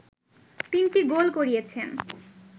তিনটি গোল করিয়েছেন